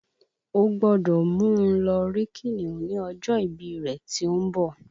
O gbọ́dọ̀ mú un lọ rí kìnìún ní ọjọ́ ìbí rẹ tí ó ń bọ̀